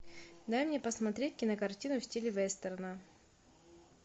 дай мне посмотреть кинокартину в стиле вестерна